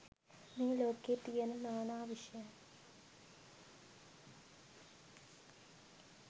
මේ ලෝකයේ තියෙන නා නා විෂයන්